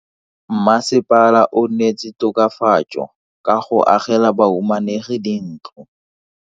Mmasepala o neetse tokafatso ka go agela bahumanegi dintlo.